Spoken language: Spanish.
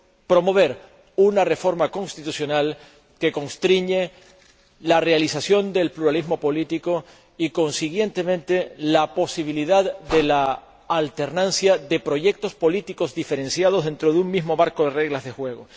promover una reforma constitucional que constriñe la realización del pluralismo político y, consiguientemente, la posibilidad de alternancia de proyectos políticos diferenciados dentro de un mismo marco de reglas de juego.